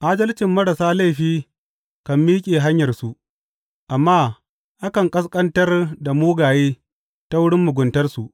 Adalcin marasa laifi kan miƙe hanyarsu, amma akan ƙasƙantar da mugaye ta wurin muguntarsu.